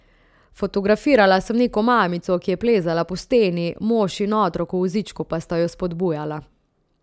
Fotografirala sem neko mamico ki je plezala po steni, mož in otrok v vozičku pa sta jo spodbujala.